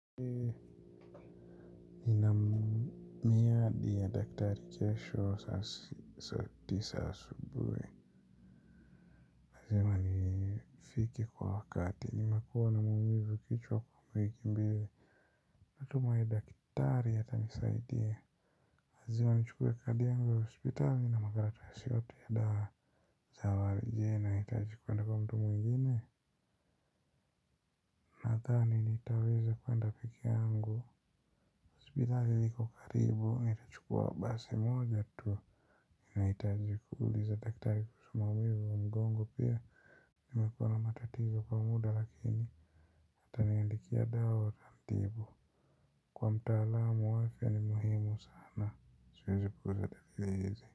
Nina miadi ya daktari kesho saa tisa asubuhi lazima nifike kwa wakati nimekuwa na maumivu kichwa kwa wiki mbili. Natumai daktari atanisaidia lazima nichukue kadi yangu ya hospitali na makaratasi yote ya dawa. Sawa, je, nahitaji kuenda kwa mtu mwingine? Nadhani nitaweza kuenda peke yangu. Hospitali liko karibu, nitachukua basi moja tu. Ninahitaji kuuliza daktari kuhusu maumivu wa mgongo pia. Nimekuwa na matatizo kwa muda lakini ataniandikia dawa itanitibu. Kuwa mtaalamu wa afya ni muhimu sana, siwezi kuuliza daktari hizi.